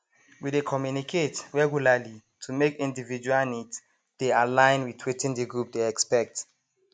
we dey communicate regularly to make individual needs dey align with wetin the group dey expect